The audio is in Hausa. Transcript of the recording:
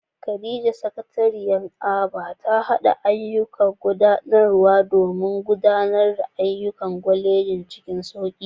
Khadija, Sakatariya a Aba, ta haɗa ayyukan gudanarwa domin gudanar da ayyukan kwalejin cikin sauki.